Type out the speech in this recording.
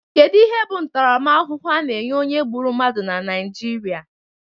Kedu ihe bụ ntaramahụhụ a na-enye onye gbụrụ mmadụ na Naijiria?